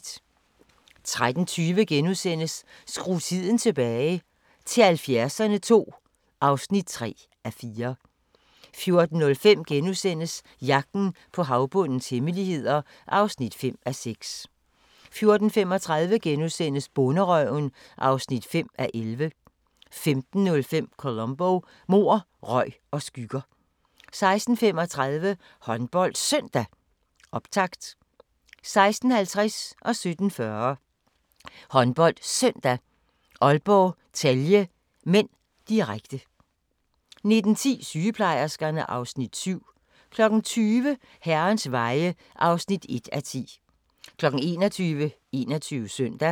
13:20: Skru tiden tilbage – til 70'erne II (3:4)* 14:05: Jagten på havbundens hemmeligheder (5:6)* 14:35: Bonderøven (5:11)* 15:05: Columbo: Mord, røg og skygger 16:35: HåndboldSøndag: Optakt 16:50: HåndboldSøndag: Aalborg-Celje (m), direkte 17:40: HåndboldSøndag: Aalborg-Celje (m), direkte 19:10: Sygeplejerskerne (Afs. 7) 20:00: Herrens veje (1:10) 21:00: 21 Søndag